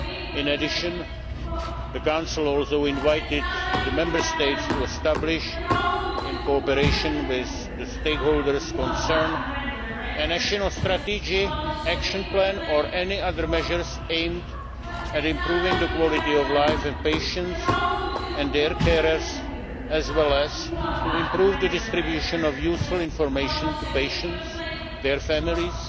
In addition, the Council also invited the Member States to establish, in cooperation with the stakeholders concerned, a national strategy action plan or any other measures aimed at improving the quality of life of patients and their carers, as well as to improve the distribution of useful information to patients, their families